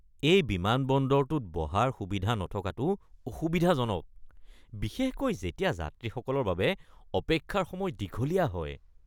এই বিমানবন্দৰটোত বহাৰ সুবিধা নথকাটো অসুবিধাজনক, বিশেষকৈ যেতিয়া যাত্ৰীসকলৰ বাবে অপেক্ষাৰ সময় দীঘলীয়া হয়।